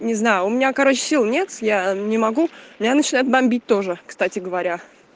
не знаю у меня короче сил нет я не могу меня начинает бомбить тоже кстати говоря